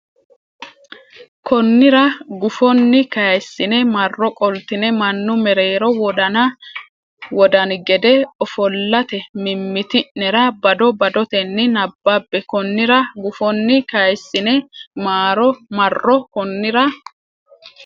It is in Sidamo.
Konnira gufonni kayissine marro qoltine mannu mereero wodani gede ofollate mimmiti nera bado badotenni nabbabbe Konnira gufonni kayissine marro Konnira.